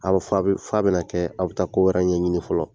A bɛ fa bɛna kɛ aw bɛ taa ko wɛrɛ ɲɛɲini fɔlɔ